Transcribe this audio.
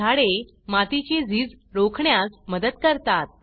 झाडे मातीची झीज रोखण्यास मदत करतात